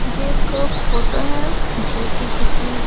ये एक फोटो है जो कि किसी--